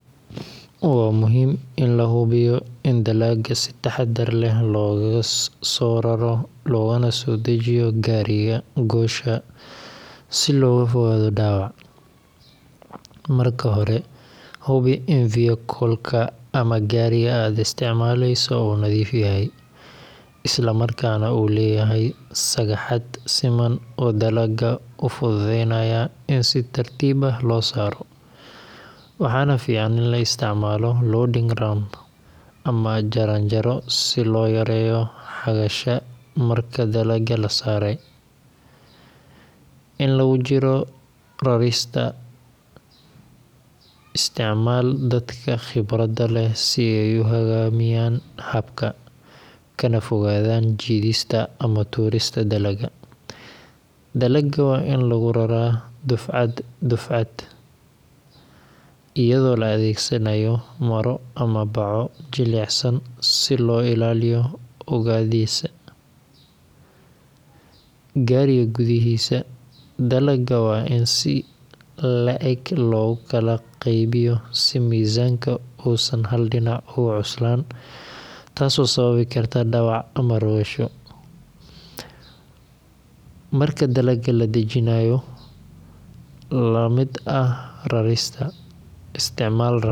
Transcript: Waa muhiim in la hubiyo in dalagga si taxaddar leh loogaga soo raro loogana soo dejiyo gaariga goosha si looga fogaado dhaawac. Marka hore, hubi in vehicle-ka ama gaariga aad isticmaaleyso uu nadiif yahay, isla markaana uu leeyahay sagxad siman oo dalagga u fududeynaysa in si tartiib ah loo saaro. Waxaa fiican in la isticmaalo loading ramp ama jaranjaro si loo yareeyo xagasha marka dalagga la saaray. Inta lagu jiro rarista, isticmaal dadka khibradda leh si ay u hoggaamiyaan habka, kana fogaadaan jiidista ama tuurista dalagga. Dalagga waa in lagu raraa dufcad dufcad, iyadoo la adeegsanayo maro ama baco jilicsan si loo ilaaliyo oogadiisa. Gaariga gudihiisa, dalagga waa in si is le’eg loogu kala qaybiyo si miisaanka uusan hal dhinac ugu cuslayn taasoo sababi karta dhaawac ama rogasho. Marka dalagga la dejinayo, la mid ah rarista, isticmaal ramp.